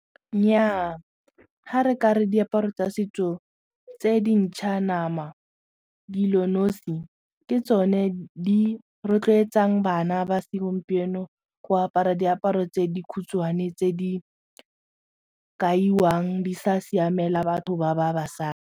Nnyaa ga re ka re diaparo tsa setso tse dintšha nama di le nosi ke tsone di rotloetsang bana ba segompieno go apara diaparo tse di khutshwane tse di kaiwang di sa siamela batho ba ba .